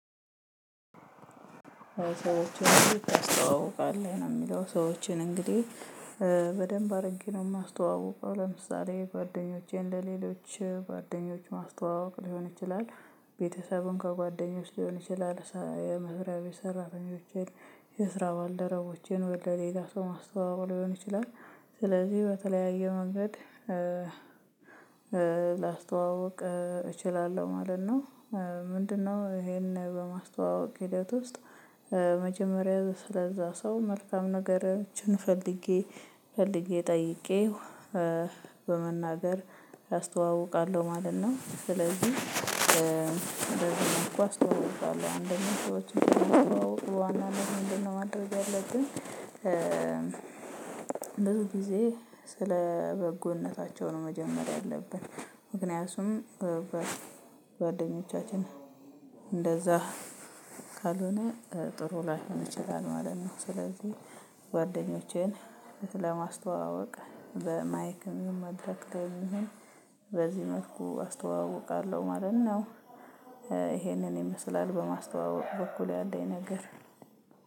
ሰዎችን ታስተዋውቃለህ ነው የሚለው ሰዎችን እንግዲህ በደንብ አድርጌ ነው የማስተዋውቀው ለምሳሌ ጓደኞቼን ለሌሎች ጓደኞች ማስተዋወቅ ሊሆን ይችላል ቤተሰቡን ከጓደኞች ሊሆን ይችላል የመብሪያ ቤት ሰራተኞችን የስራ ባልደረቦቼን ወደ ሌላ ሰው ማስተዋወቅ ሊሆን ይችላል ስለዚህ በተለያየ መንገድ ላስተዋውቅ እችላለሁ ማለት ነው። ምንድነው? ይሄን በማስተዋወቅ ሒደት ውስጥ መጀመሪያ ስለዛ ሰው መልካም ነገሮችን ፈልጌ ፈልጌ ጠይቄው በመናገር አስተዋውቃለሁ ማለት ነው። ስለዚህ በዚህ መልኩ አስተዋውቃለሁ አንደኛ ሰዎችን ስናስተዋዉቅ በዋናነት ምንድነው ማድረግ ያለብን? ብዙ ጊዜ ስለ በጎነታቸው ነው መጀመር ያለብን አለብን ምክንያቱም በጓደኞቻችን እንደዛ ካልሆነ ጥሩ ላይሆን ይችላል ማለት ነው። ስለዚህ ጓደኞቼን ለማስተዋወቅ በማይክም መድረክ ላይ በዚህ መልኩ አስተዋውቃለሁ ማለት ነው። ይሄንን ይመስላል በማስተዋወቅ በኩል ያለኝ ነገር